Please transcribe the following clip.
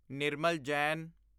Nirmal Jain